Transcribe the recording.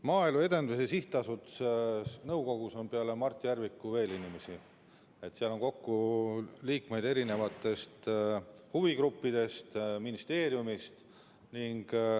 Maaelu Edendamise Sihtasutuse nõukogus on peale Mart Järviku veel inimesi, seal on liikmeid erinevatest huvigruppidest ja ka ministeeriumist.